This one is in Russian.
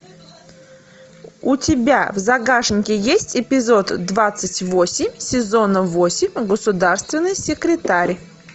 у тебя в загашнике есть эпизод двадцать восемь сезон восемь государственный секретарь